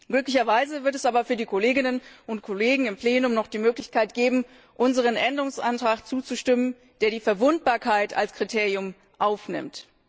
Glücklicherweise wird es aber für die Kolleginnen und Kollegen im Plenum noch die Möglichkeit geben, unserem Änderungsantrag zuzustimmen, der die Verwundbarkeit als Kriterium aufnimmt.